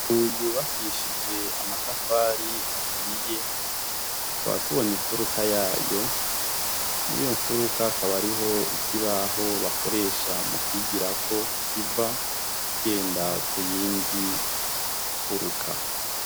Inzu yubakishije amatafari ahiye, tukaba tubona imfuruka yayo. Mw'iyo mfuruka akaba ariho ikibaho bakoresha mu kwigirako kiva, kigenda ku yindi mfuruka.